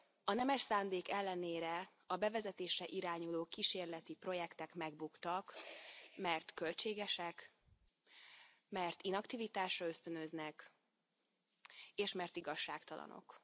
A nemes szándék ellenére a bevezetésre irányuló kísérleti projektek megbuktak, mert költségesek, mert inaktivitásra ösztönöznek, és mert igazságtalanok.